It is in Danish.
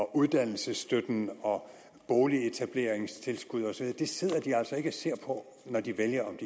uddannelsesstøtte og boligetableringstilskud osv det sidder de altså ikke og ser på når de vælger om